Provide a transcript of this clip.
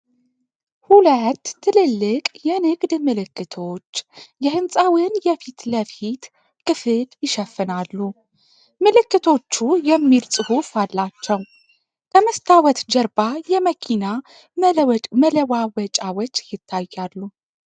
ሁለት ትልልቅ የንግድ ምልክቶች የሕንፃውን የፊት ለፊት ክፍል ይሸፍናሉ። ምልክቶቹ የሚል ጽሑፍ አላቸው ። ከመስታወት ጀርባ የመኪና መለዋወጫዎች ይታያሉ ።